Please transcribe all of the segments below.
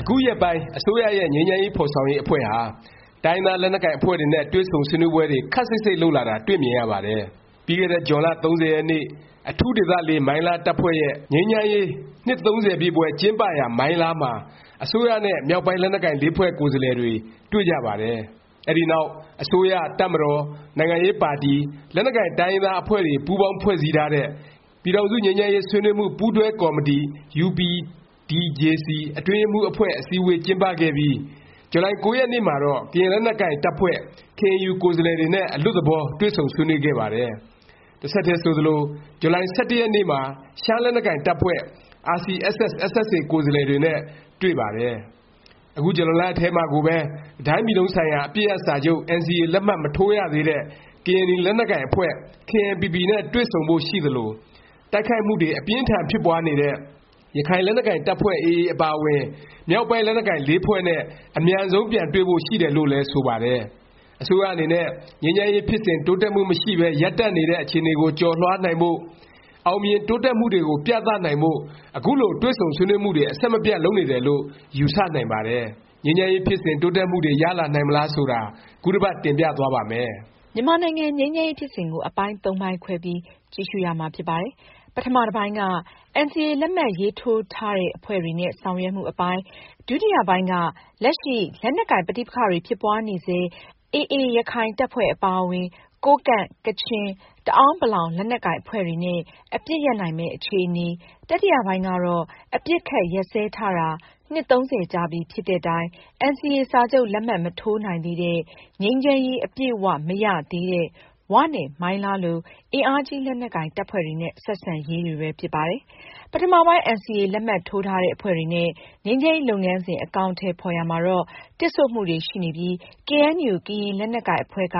အခုရက်ပိုင်း အစိုးရရဲ့ ငြိမ်းချမ်းရေး ဖော်ဆောင်ရေး အဖွဲ့ဟာ တိုင်းရင်းသား လက်နက်ကိုင် အဖွဲ့တွေနဲ့ တွေ့ဆုံဆွေးနွေးပွဲတွေ ခပ်စိပ်စိပ် လုပ်လာတာ တွေ့မြင်ရပါတယ်။ ပြီးခဲ့တဲ့ ဇွန်လ ၃၀ ရက်နေ့ အထူးဒေသ မိုင်းလား တပ်ဖွဲ့ရဲ့ ငြိမ်းချမ်းရေး နှစ် ပြည့်ပွဲကျင်းပရာ မိုင်းလားမှာ အစိုးရနဲ့ မြောက်ပိုင်း လက်နက်ကိုင် ဖွဲ့ကိုယ်စားလှယ်တွေ တွေ့ကြပါတယ်။ အဲဒီနောက် အစိုးရ၊ တပ်မတော်၊ နိုင်ငံရေးပါတီ၊ လက်နက်ကိုင် တိုင်းရင်းသား အဖွဲ့တွေ ပူးပေါင်း ဖွဲ့စည်းထားတဲ့ ပြည်ထောင်စု ငြိမ်းချမ်းရေး ဆွေးနွေးမှု ပူးတွဲကော်မတီ UPDJC အတွင်းရေးမှူး အဖွဲ့ အစည်းဝေး ကျင်းပခဲ့ပြီး ဇူလိုင် ၉ ရက်နေ့မှာတော့ ကရင်လက်နက်ကိုင် တပ်ဖွဲ့ KNU ကိုယ်စားလှယ်တွေနဲ့ အလွတ်သဘော တွေ့ဆုံဆွေးနွေးခဲ့ပါတယ်။ တဆက်တည်း ဆိုသလို ဇူလိုင် ၁၁ ရက်နေ့မှာ ရှမ်းလက်နက်ကိုင် တပ်ဖွဲ့ RCSS/SSA ကိုယ်စားလှယ်တွေနဲ့ တွေ့ပါတယ်။ အခု ဇူလိုင်လ ထဲမှာကိုပဲ တစ်တိုင်းပြည်လုံးဆိုင်ရာ အပစ်ရပ်စာချုပ် NCA လက်မှတ် မထိုးရသေးတဲ့ ကရင်နီ လက်နက်ကိုင်အဖွဲ့ KNPP နဲ့ တွေ့ဆုံဖို့ ရှိသလို၊ တိုက်ခိုက်မှုတွေ အပြင်းအထန် ဖြစ်ပွားနေတဲ့ ရခိုင်လက်နက်ကိုင် တပ်ဖွဲ့ AA အပါအဝင် မြောက်ပိုင်း လက်နက်ကိုင် ဖွဲ့နဲ့ အမြန်ဆုံး ပြန်တွေ့ဖို့ ရှိတယ်လို့လည်း ဆိုပါတယ်။ အစိုးရအနေနဲ့ ငြိမ်းချမ်းရေး ဖြစ်စဉ် တိုးတက်မှု မရှိပဲ ရပ်တန့်နေတဲ့ အခြေအနေကို ကျော်လွှားနိုင်ဖို့၊ အောင်မြင် တိုးတက်မှုတွေကို ပြသနိုင်ဖို့ အခုလို တွေ့ဆုံဆွေးနွေးမှုတွေ အဆက်မပြတ် လုပ်နေတယ်လို့ ယူဆနိုင်ပါတယ်။ ငြိမ်းချမ်းရေး ဖြစ်စဉ် တိုးတက်မှုတွေ ရလာနိုင်မလား ဆိုတာကို ခုတစ်ပတ် တင်ပြသွားပါ့မယ်။ မြန်မာနိုင်ငံ ငြိမ်းချမ်းရေး ဖြစ်စဉ်ကို အပိုင်းသုံးပိုင်းခွဲပြီး ကြည့်ရှုရမှာ ဖြစ်ပါတယ်။ ပထမ တစ်ပိုင်းက NCA လက်မှတ်ရေးထိုးထားတဲ့ အဖွဲ့တွေနဲ့ ဆောင်ရွက်မှု အပိုင်း၊ ဒုတိယ ပိုင်းက လက်ရှိ လက်နက်ကိုင် ပဋိပက္ခတွေ ဖြစ်ပွားနေဆဲ ရခိုင် AA တပ်ဖွဲ့အပါအဝင်၊ ကိုးကန့်၊ ကချင်၊ တအဲာန်းပလောင် လက်နက်ကိုင် အဖွဲ့တွေနဲ့ အပစ်ရပ်နိုင်မယ့် အခြေအနေ၊ တတိယပိုင်းကတော့ အပစ်အခတ် ရပ်စဲထားတာ နှစ် ၃၀ ကြာပြီဖြစ်တဲ့တိုင် NCA စာချုပ် လက်မှတ် မထိုးနိုင်သေးတဲ့၊ ငြိမ်းချမ်းရေး အပြည့်အ၀ မရသေးတဲ့ ၀ နဲ့ မိုင်းလား လို အင်အားကြီး လက်နက်ကိုင် တပ်ဖွဲ့တွေနဲ့ ဆက်ဆံရေး တွေပဲ ဖြစ်ပါတယ်။ ပထမပိုင်း NCA လက်မှတ်ထိုးထားတဲ့ အဖွဲ့တွေနဲ့ ငြိမ်းချမ်းရေး လုပ်ငန်းစဉ် အကောင်အထည် ဖော်ရာမှာတော့ တစ်ဆို့မှုတွေ ရှိနေပြီး ကေအဲန်ယူ ကရင်လက်နက်ကိုင် အဖွဲ့က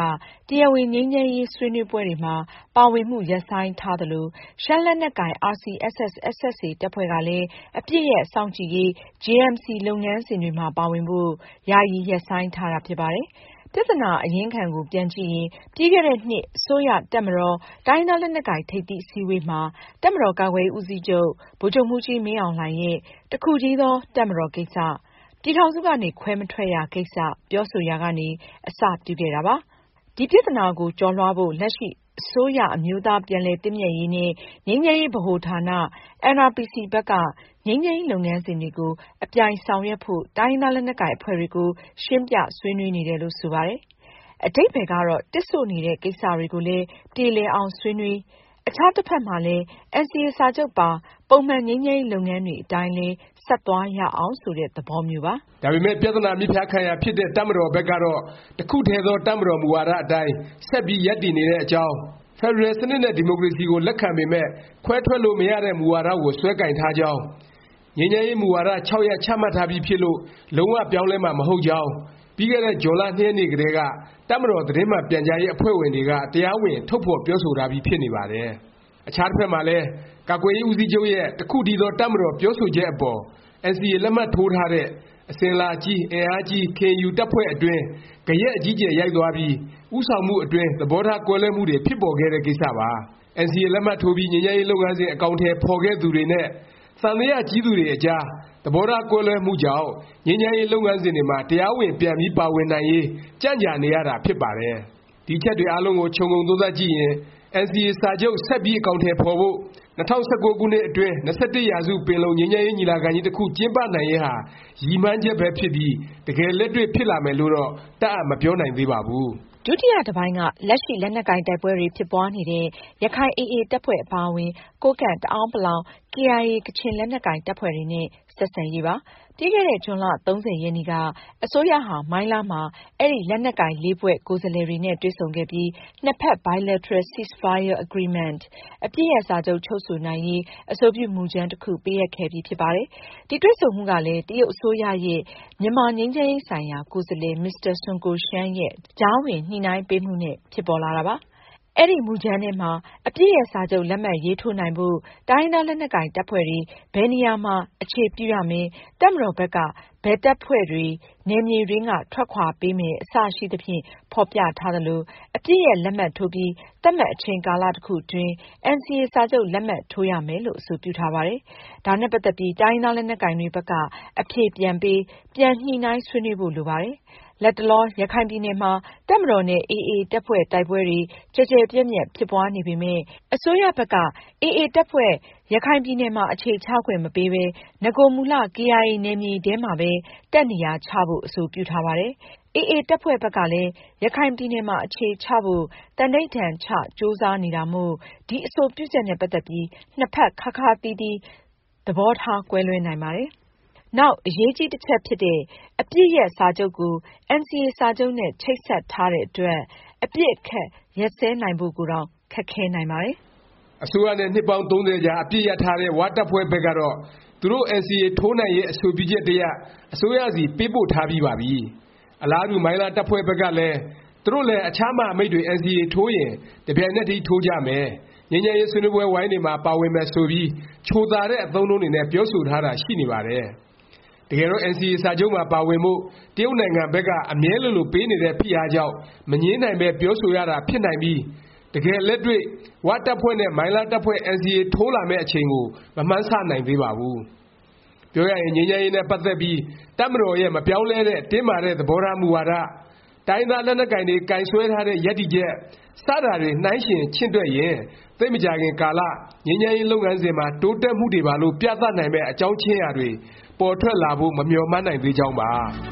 တရားဝင် ငြိမ်းချမ်းရေး ဆွေးနွေးပွဲတွေမှာ ပါဝင်မှု ရပ်ဆိုင်းထားသလို၊ ရှမ်းလက်နက်ကိုင် RCSS/SSA တပ်ဖွဲ့ကလည်း အပစ်ရပ်စောင့်ကြည့်ရေး JMC လုပ်ငန်းစဉ်တွေမှာ ပါဝင်ဖို့ ယာယီ ရပ်ဆိုင်းထားတာ ဖြစ်ပါတယ်။ ပြသနာ အရင်းခံကို ပြန်ကြည့်ရင် ပြီးခဲ့တဲ့နှစ် အစိုးရ၊ တပ်မတော်၊ တိုင်းရင်းသား လက်နက်ကိုင် ထိပ်သီး အစည်းအဝေးမှာ တပ်မတော် ကာကွယ်ရေး ဦးစီးချုပ် ဗိုလ်ချုပ်မှူးကြီး မင်းအောင်လှိုင်ရဲ့ တစ်ခုတည်းသော တပ်မတော်ကိစ္စ၊ ပြည်ထောင်စုကနေ ခွဲမထွက်ရ ကိစ္စ ပြောဆိုရာကနေ အစပြုခဲ့တာ ဖြစ်ပါတယ်။ ဒီပြသနာကို ကျော်လွှားဖို့ လက်ရှိ အစိုးရ အမျိုးသား ပြန်လည်သင့်မြတ်ရေးနဲ့ ငြိမ်းချမ်းရေး ဗဟိုဌာန NRPC ဘက်က ငြိမ်းချမ်းရေး လုပ်ငန်းစဉ်တွေကို အပြိုင် ဆောင်ရွက်ဖို့ တိုင်းရင်းသား လက်နက်ကိုင် အဖွဲ့တွေကို ရှင်းပြ ဆွေးနွေးနေတယ်လို့ ဆိုပါတယ်။ အဓိပ္ပါယ်ကတော့ တစ်ဆို့နေတဲ့ ကိစ္စတွေကိုလည်း ပြေလည်အောင် ဆွေးနွေး၊ အခြား တစ်ဖက်မှာလည်း NCA စာချုပ်ပါ ပုံမှန် ငြိမ်းချမ်းရေး လုပ်ငန်းတွေ အတိုင်းလည်း ဆက်သွားရအောင် ဆိုတဲ့ သဘောမျိုးပါ။ ဒါပေမယ့် ပြသနာ မြစ်ဖျားခံရာ ဖြစ်တဲ့ တပ်မတော်ဘက်ကတော့ တစ်ခုတည်းသော တပ်မတော် မူဝါဒ အတိုင်း ဆက်ပြီး ရပ်တည်နေတဲ့အကြောင်း၊ ဖက်ဒရယ်စနစ်နဲ့ ဒီမိုကရေစီကို လက်ခံပေမယ့် ခွဲထွက်လို့ မရတဲ့ မူဝါဒကို စွဲကိုင်ထားကြောင်း၊ ငြိမ်းချမ်းရေး မူဝါဒ ၆ ရပ် ချမှတ်ထားပြီးဖြစ်လို့ လုံး၀ ပြောင်းလဲမှာ မဟုတ်ကြောင်း ပြီးခဲ့တဲ့ ဇွန်လ ၂ ရက်နေ့ကတည်းက တပ်မတော် သတင်းမှန် ပြန်ကြားရေး အဖွဲ့ဝင်တွေက တရားဝင် ထုတ်ဖော်ပြောဆိုထားပြီး ဖြစ်နေပါတယ်။ အခြားတစ်ဖက်မှာလည်း ကာကွယ်ရေး ဦးစီးချုပ်ရဲ့ တစ်ခုတည်းသော တပ်မတော် ပြောဆိုချက်အပေါ် NCA လက်မှတ်ထိုးထားတဲ့ အစဉ်အလာကြီး၊ အင်အားကြီး KNU တပ်ဖွဲ့အတွင်း ဂယက်အကြီးအကျယ် ရိုက်သွားပြီး ဦးဆောင်မှု အတွင်း သဘောထား ကွဲလွဲမှုတွေ ဖြစ်ပေါ်ခဲ့တဲ့ ကိစ္စပါ။ NCA လက်မှတ်ထိုးပြီး ငြိမ်းချမ်းရေး လုပ်ငန်းစဉ် အကောင်အထည် ဖော်ခဲ့သူတွေနဲ့ သံသယ ကြီးသူတွေအကြား သဘောထားကွဲလွဲမှုကြောင့် ငြိမ်းချမ်းရေး လုပ်ငန်းစဉ်တွေမှာ တရားဝင် ပြန်ပြီး ပါဝင်နိုင်ရေး ကြံ့ကြာနေရတာ ဖြစ်ပါတယ်။ ဒီအချက်တွေ အားလုံးကို ခြုံငုံသုံးသပ်ကြည့်ရင် NCA စာချုပ် ဆက်ပြီး အကောင်အထည် ဖော်ဖို့၊ ၂၀၁၉ ခုနှစ်အတွင်း ၂၁ ရာစု ပင်လုံငြိမ်းချမ်းရေး ညီလာခံကြီး တစ်ခု ကျင်းပနိုင်ရေးဟာ ရည်မှန်းချက်ပဲ ဖြစ်ပြီး တကယ်လက်တွေ့ ဖြစ်လာမယ်လို့တော့ တပ်အပ် မပြောနိုင်သေးပါဘူး။ ဒုတိယ တစ်ပိုင်းက လက်ရှိ လက်နက်ကိုင် တိုက်ပွဲတွေ ဖြစ်ပွားနေတဲ့ ရခိုင် AA တပ်ဖွဲ့ အပါအဝင် ကိုးကန့်၊ တအာဲန်း ပလောင်၊ KIA ကချင် လက်နက်ကိုင် တပ်ဖွဲ့တွေနဲ့ ဆက်ဆံရေးပါ။ ပြီးခဲ့တဲ့ ဇွန်လ ၃၀ ရက်နေ့က အစိုးရဟာ မိုင်းလားမှာ အဲဒီ လက်နက်ကိုင် ဖွဲ့ ကိုယ်စားလှယ်တွေနဲ့ တွေ့ဆုံခဲ့ပြီး၊ နှစ်ဖက် Bilateral Ceasefire Agreement အပစ်ရပ်စာချုပ် ချုပ်ဆိုနိုင်ရေး အဆိုပြု မူကြမ်း တစ်ခု ပေးအပ်ခဲ့ပြီ ဖြစ်ပါတယ်။ ဒီ တွေ့ဆုံမှုကလည်း တရုတ်အစိုးရရဲ့ မြန်မာငြိမ်းချမ်းရေး ဆိုင်ရာ ကိုယ်စားလှယ် မစ္စတာ ဆွန်းကိုရှန်းရဲ့ ကြားဝင်ညှိနှိုင်းပေးမှုနဲ့ ဖြစ်ပေါ်လာတာပါ။ အဲဒီ မူကြမ်းထဲမှာ အပစ်ရပ် စာချုပ် လက်မှတ်ရေးထိုးနိုင်ဖို့ တိုင်းရင်းသား လက်နက်ကိုင် တပ်ဖွဲ့တွေ ဘယ်နေရာမှာ အခြေပြုရမယ်၊ တပ်မတော်ဘက်က ဘယ်တပ်ဖွဲ့တွေ နယ်မြေတွင်းက ထွက်ခွာပေးမယ် အစရှိသဖြင့် ဖော်ပြထားသလို၊ အပစ်ရပ်လက်မှတ်ထိုးပြီး သတ်မှတ် အချိန်ကာလ တစ်ခုအတွင်း NCA စာချုပ် လက်မှတ်ထိုးရမယ်လို့ အဆိုပြုထားပါတယ်။ ဒါနဲ့ ပတ်သက်ပြီး တိုင်းရင်းသားလက်နက်ကိုင်တွေ ဘက်က အဖြေပြန်ပေး၊ ပြန် ညှိနှိုင်းဆွေးနွေးဖို့ လိုပါတယ်။ လတ်တလော ရခိုင်ပြည်နယ်မှာ တပ်မတော်နဲ့ AA တပ်ဖွဲ့ တိုက်ပွဲတွေ ကျယ်ကျယ်ပြန့်ပြန့် ဖြစ်ပွားနေပေမယ့် အစိုးရဘက်က AA တပ်ဖွဲ့ ရခိုင်ပြည်နယ်မှာ အခြေချခွင့်မပေးပဲ၊ နဂိုမူလ KIA နယ်မြေထဲမှာပဲ တပ်နေရာချဖို့ အဆိုပြုထားပါတယ်။ AA တပ်ဖွဲ့ဘက်ကလည်း ရခိုင်ပြည်နယ်မှာ အခြေချဖို့ သန္ဓိဌာန်ချ ကြိုးစားနေတာမို့ ဒီအဆိုပြုချက်နဲ့ ပတ်သက်ပြီး နှစ်ဖက် ခါးခါးသီးသီး သဘောထား ကွဲလွဲနိုင်ပါတယ်။ နောက်အရေးကြီး တစ်ချက်ဖြစ်တဲ့ အပစ်ရပ်စာချုပ် ကို NCA စာချုပ်နဲ့ ချိတ်ဆက်ထားတဲ့ အတွက် အပစ်အခတ် ရပ်စဲနိုင်ဖို့ကိုတောင် ခက်ခဲနိုင်ပါတယ်။ အစိုးရနဲ့ နှစ်ပေါင်း ၃၀ကြာ အပစ်ရပ်ထားတဲ့ ၀ တပ်ဖွဲ့ဘက်ကတော့ သူတို့ NCA ထိုးနိုင်ရေး အဆိုပြုချက်တစ်ရပ် အစိုးရဆီ ပေးပို့ထားပြီးပါပြီ။ အလားတူ မိုင်းလား တပ်ဖွဲ့ဘက်က သူတို့လည်း အခြား မဟာမိတ်တွေ NCA ထိုးရင် တစ်ပြိုင်နက်တည်း ထိုးကြမယ်၊ ငြိမ်းချမ်းရေး ဆွေးနွေးပွဲဝိုင်းတွေမှာ ပါဝင်မယ် ဆိုပြီး ချိုသာတဲ့ အသုံးအနှုန်းတွေနဲ့ ပြောဆိုထားတာ ရှိနေပါတယ်။ တကယ်တော့ NCA စာချုပ်မှာ ပါဝင်ဖို့ တရုတ်နိုင်ငံဘက်က အမြဲလိုလို ပေးနေတဲ့ ဖိအားကြောင့် မငြင်းနိုင်ပဲ ပြောဆိုရတာ ဖြစ်နိုင်ပြီး တကယ်လက်တွေ့ ဝတပ်ဖွဲ့နဲ့ မိုင်းလား တပ်ဖွဲ့ NCA ထိုးလာမယ့် အချိန်ကို မမှန်းဆနိုင်သေးပါဘူး။ ပြောရရင် ငြိမ်းချမ်းရေး နဲ့ ပတ်သက်ပြီး တပ်မတော်ရဲ့ မပြောင်းလဲတဲ့ တင်းမာတဲ့ သဘောထား မူဝါဒ၊ တိုင်းရင်းသား လက်နက်ကိုင်တွေ ကိုင်စွဲထားတဲ့ ရပ်တည်ချက် စတာတွေ နှိုင်းယှဉ် ချင့်တွက်ရင် သိပ်မကြာခင်ကာလ ငြိမ်းချမ်းရေး လုပ်ငန်းစဉ်မှာ တိုးတက်မှုတွေပါလို့ ပြသနိုင်မယ့် အကြောင်းခြင်းရာတွေ ပေါ်ထွက်လာဖို့ မမျှော်မှန်းနိုင်သေးကြောင်းပါ